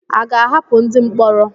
À ga-ahapụ ndị mkpọrọ?